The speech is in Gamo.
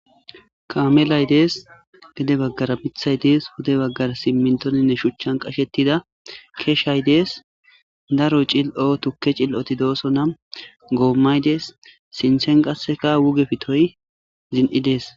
kaamelay dees gede baggara mithay dees hude baggar simmintoninne shuchchan qashettida keeshay dees daroy cil7oo tukke cil7oti dooso nam goommaydes sintsen qaseka wuge fitoy zin7i dees